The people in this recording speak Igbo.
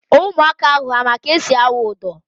Ụmụaka ahụ ha ma ka esi awụ ụdọ?